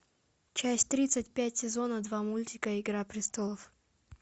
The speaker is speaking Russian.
часть тридцать пять сезона два мультика игра престолов